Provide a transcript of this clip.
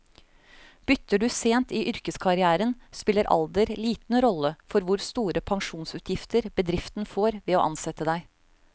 Bytter du sent i yrkeskarrieren, spiller alder liten rolle for hvor store pensjonsutgifter bedriften får ved å ansette deg.